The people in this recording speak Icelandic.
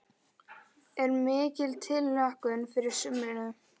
Er mikil tilhlökkun fyrir sumrinu?